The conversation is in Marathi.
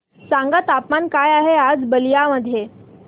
सांगा तापमान काय आहे आज बलिया मध्ये